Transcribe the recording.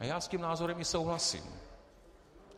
A já s tím názorem i souhlasím.